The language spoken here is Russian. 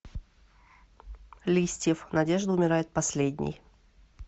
листьев надежда умирает последней